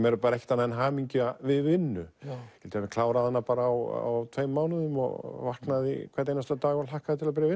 er ekkert annað en hamingja við vinnu ég ég hafi klárað hana á tveim mánuðum og vaknaði hvern einasta dag og hlakkaði til að byrja